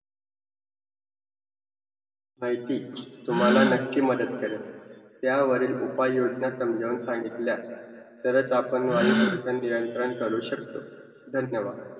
माहिती तुम्हांला नक्की मदत करेल. त्यावरील उपाययोजना समजावून सांगितल्या, तरच आपण वायुप्रदूषण नियंत्रण करू शकतो. धन्यवाद!